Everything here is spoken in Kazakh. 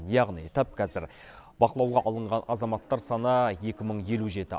яғни тап қазір бақылауға алынған азаматтар саны екі мың елу жеті